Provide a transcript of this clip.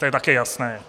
To je také jasné.